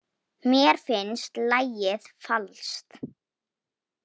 Mér finnst lagið falskt.